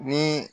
Ni